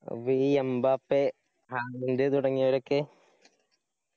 അപ്പൊ ഈ എമ്ബാപ്പെ തുടങ്ങിയവരൊക്കെ?